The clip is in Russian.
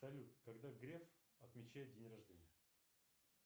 салют когда греф отмечает день рождения